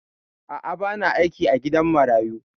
A'a, ba na aiki a gidan marayu.